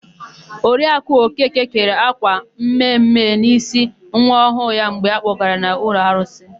Oriaku Okeke kere ákwà mme mme n'ísí nwa ọhụụ ya mgbe a kpọgara ya n'ụlọ arụsị ha.